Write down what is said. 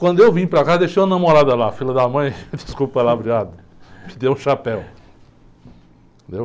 Quando eu vim para casa, deixei uma namorada lá, filha da mãe, desculpa o palavreado, me deu um chapéu.